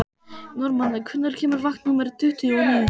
Normann, hvenær kemur vagn númer tuttugu og níu?